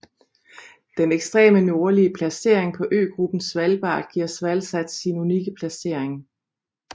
Den ekstreme nordlige placering på øgruppen Svalbard giver SvalSat sin unikke placering